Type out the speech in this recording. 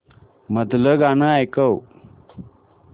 मधलं गाणं ऐकव